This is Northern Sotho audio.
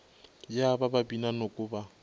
ya ka babina noko ba